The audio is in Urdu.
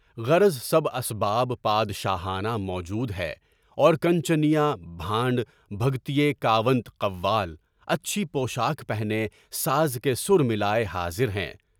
غرض سب اسباب بادشاہنا موجود ہے، اور کانچنیا، بھانڈ، بھگت، کاوَنٹ، قوال، اچھے پوشاک پہنے ساز کے ساتھ ملائے حاضر ہیں۔